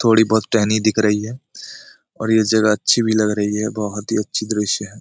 थोड़ी बहुत टहनी दिख रही है और ये जरा अच्छी भी लग रही है बहुत ही अच्छी दृश्य है।